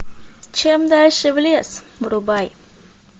чем дальше в лес врубай